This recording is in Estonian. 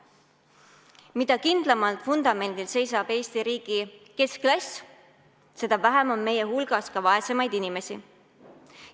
Mida kindlamal vundamendil seisab Eesti riigi keskklass, seda vähem on meie hulgas vaesemaid inimesi.